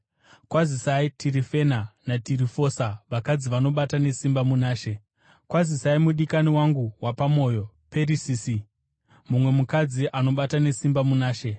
Kwazisai Tirifena naTirifosa, vakadzi vanobata nesimba muna She. Kwazisai mudikani wangu wepamwoyo Perisisi, mumwe mukadzi anobata nesimba muna She.